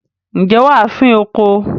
ǹjẹ́ wà á fín oko?